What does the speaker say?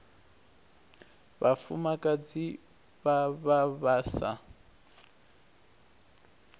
vhafumakadzi vha vha vha sa